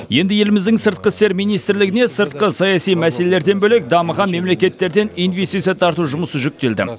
енді еліміздің сыртқы істер министрлігіне сыртқы саяси мәселелерден бөлек дамыған мемлекеттерден инвестиция тарту жұмысы жүктелді